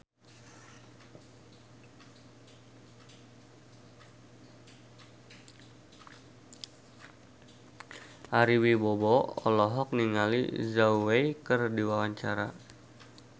Ari Wibowo olohok ningali Zhao Wei keur diwawancara